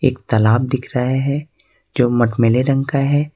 एक तालाब दिख रहे हैं जो मटमैले रंग का है।